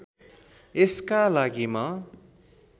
यसका लागि म